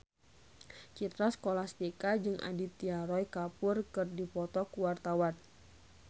Citra Scholastika jeung Aditya Roy Kapoor keur dipoto ku wartawan